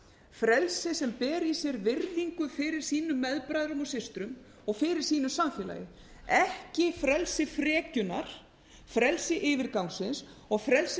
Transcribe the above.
frelsi sem ber í sér virðingu fyrir sínum meðbræðrum og systrum og fyrir sínu samfélagi ekki frelsi frekjunnar frelsi yfirgangsins og frelsi